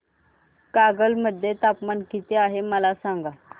कागल मध्ये तापमान किती आहे मला सांगा